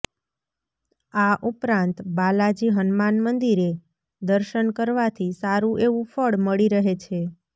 આ ઉપરાંત બાલાજી હનુમાન મંદિરે દર્શન કરવાથી સારું એવું ફળ મળી રહે છે